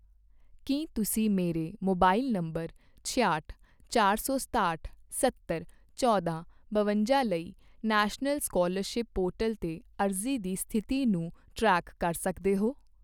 ਕੀ ਤੁਸੀਂ ਮੇਰੇ mobile number ਛਿਆਹਟ, ਚਾਰ ਸੌ ਸਤਾਹਟ, ਸੱਤਰ, ਚੌਂਦਾ, ਬਵੰਜਾ ਲਈ ਨੈਸ਼ਨਲ ਸਕਾਲਰਸ਼ਿਪ ਪੋਰਟਲ 'ਤੇ ਅਰਜ਼ੀ ਦੀ ਸਥਿਤੀ ਨੂੰ ਟਰੈਕ ਕਰ ਸਕਦੇ ਹੋ?